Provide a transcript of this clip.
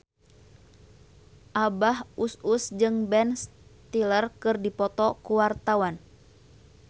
Abah Us Us jeung Ben Stiller keur dipoto ku wartawan